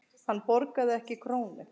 Hann borgaði ekki krónu.